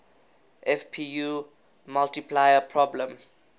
fpu multiplier problem